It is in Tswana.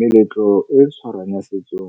Meletlo e tshwarwang ya setso,